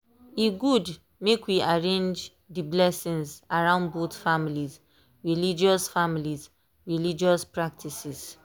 e good make we arrange dey blessings around both families 'religious families 'religious practices.